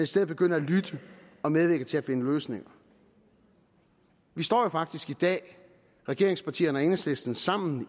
stedet begynde at lytte og medvirke til at finde løsninger vi står jo faktisk i dag regeringspartierne og enhedslisten sammen